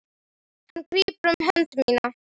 Hann grípur um hönd mína.